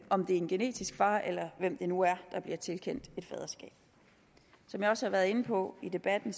om det er en genetisk far eller hvem det nu er der bliver tilkendt et faderskab som jeg også har været inde på i debatten